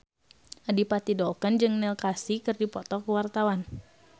Adipati Dolken jeung Neil Casey keur dipoto ku wartawan